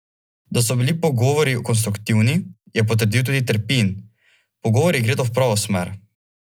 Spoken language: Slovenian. Da so bili pogovori konstruktivni, je potrdil tudi Terpin: "Pogovori gredo v pravo smer.